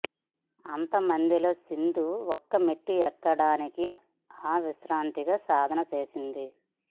అంత మందిలో సింధు ఒక్కో మెట్టు ఎక్కడానికి అవిశ్రాంతంగా సాధన చేసింది